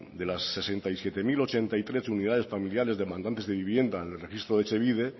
de las sesenta y siete mil ochenta y tres unidades familiares demandantes de vivienda en el registro de etxebide